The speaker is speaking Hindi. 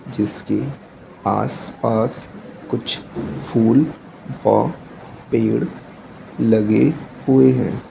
जिसके आसपास कुछ फूल व पेड़ लगे हुए हैं।